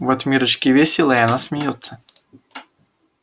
вот миррочке весело и она смеётся